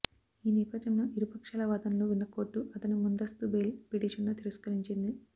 ఈ నేపథ్యంలో ఇరుపక్షాల వాదనలు విన్న కోర్టు అతని ముందస్తు బెయిల్ పిటిషన్ను తిరస్కరించింది